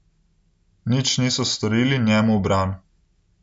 Nič niso storili njemu v bran.